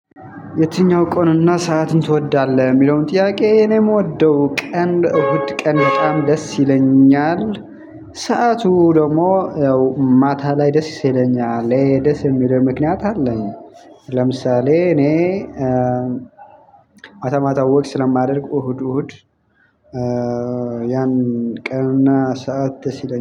የትኛው ቀንና ሰዓትን ትወዳለህ የሚለውን ጥያቄ እኔ የምወደው ቀን እሁድ ቀን በጣም ደስ ይለኛል። ሰዓቱ ደግሞ ያው ማታ ላይ ደስ ይሰለኛል ይሄ ደስ የሚለው ምክንያት አለኝ። ለምሳሌ እኔ እ ማታ ማታ ወክ ስለማደርግ እሁድ እሁድ እ ያን ቀንና ሰዓት ደስ ይለኛል